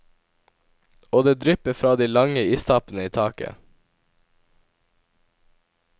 Og det drypper fra de lange istappene i taket.